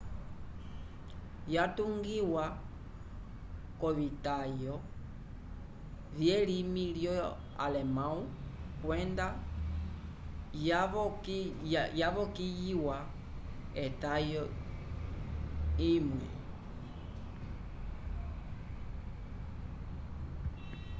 yatungiwa k’ovitayo vyelimi lyo-alemãwu kwenda yavokiyiwa etayo imwe õ/õ